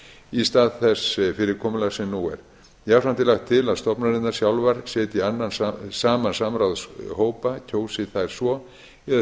í stað þess fyrirkomulags sem nú er jafnframt er lagt til að stofnanirnar sjálfar setji saman samráðshópa kjósi þær svo eða